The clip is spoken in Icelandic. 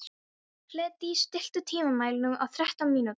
Hlédís, stilltu tímamælinn á þrettán mínútur.